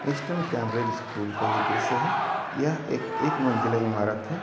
Eastern Cambridge school का ये दृश्य है यह एक एक मंज़िला इमारत है।